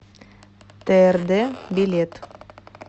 трд билет